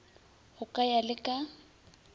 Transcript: go ka ya le ka